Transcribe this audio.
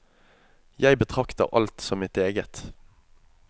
Jeg betrakter alt som mitt eget.